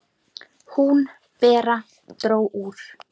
Hún, Bera, dró úr.